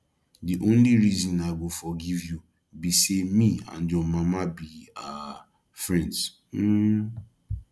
the only reason i go forgive you be say me and your mama be um friends um